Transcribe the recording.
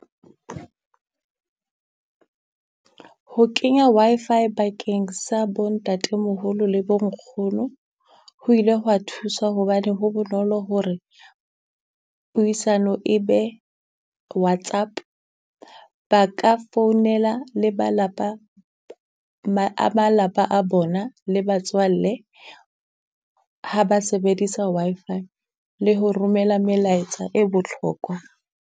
Ho kenya Wi-Fi bakeng sa bo ntatemoholo le bo nkgono, ho ile hwa thusa hobane ho bonolo hore puisano e be Whatsapp. Ba ka founela le ba lapa ma a malapa a bona, le batswalle ha ba sebedisa Wi-Fi, le ho romela melaetsa e botlhokwa.